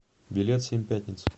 билет семь пятниц